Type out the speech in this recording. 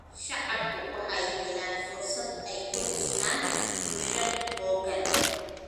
Shacabku waxay helaan fursad ay ku dhistaan ??bulsho xooggan.